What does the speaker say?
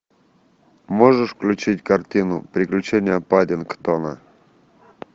можешь включить картину приключения паддингтона